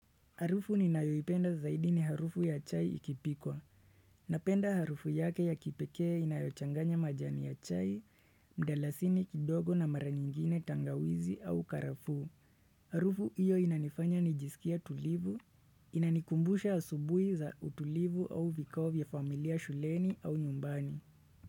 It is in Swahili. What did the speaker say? Harufu ninayoipenda zaidi ni harufu ya chai ikipikwa. Napenda harufu yake ya kipekee inayochanganya majani ya chai, mdalasini kidogo na mara nyingine tangawizi au karafuu Harufu hiyo inanifanya nijisikie tulivu, inanikumbusha asubuhi za utulivu au vikao ya familia shuleni au nyumbani.